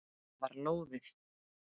Það var lóðið!